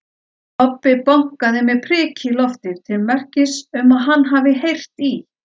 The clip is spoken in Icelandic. Kobbi bankaði með priki í loftið til merkis um að hann hafi heyrt í